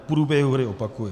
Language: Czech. V průběhu hry, opakuji.